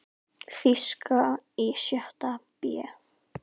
Þýska í sjötta bé.